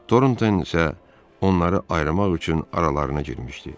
Torunton isə onları ayırmaq üçün aralarına girmişdi.